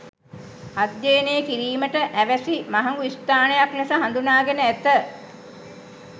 අධ්‍යයනය කිරීමට අවැසි මහගු ස්ථානයක් ලෙස හඳුනාගෙන ඇත.